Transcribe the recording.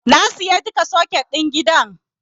Na sayi duka soket ɗin gidan.